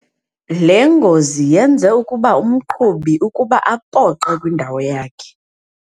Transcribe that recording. Le ngozi yenze ukuba umqhubi ukuba apoqe kwindawo yakhe.